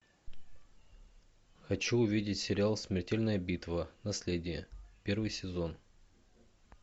хочу увидеть сериал смертельная битва наследие первый сезон